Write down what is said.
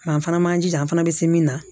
Nka an fana man jija an fana bɛ se min na